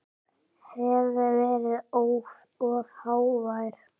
Hef verið of hávær.